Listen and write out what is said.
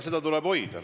Seda tuleb hoida.